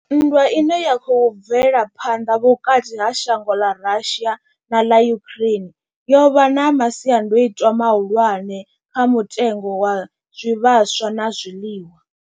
Nndwa ine ya khou bvela phanḓa vhukati ha shango ḽa Russia na ḽa Ukraine yo vha na masiandaitwa mahulwane kha mutengo wa zwivhaswa na zwiḽiwa.